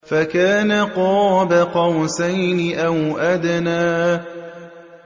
فَكَانَ قَابَ قَوْسَيْنِ أَوْ أَدْنَىٰ